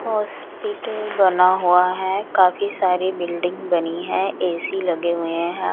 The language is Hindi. हॉस्पिटल बना हुआ है काफ़ी सारी बिल्डिंग बनी है ए_सी लगे हुए हैं।